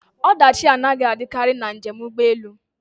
Ọdachi anaghị adịkarị na njem ụgbọ elu